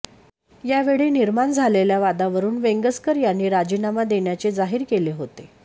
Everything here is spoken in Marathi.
यावेळी निर्माण झालेल्या वादावरून वेंगसकर यांनी राजीनामा देण्याचे जाहीर केले होते